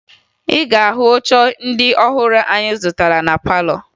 Ị ga-ahụ oche ndị ọhụrụ anyị zụtara na palọ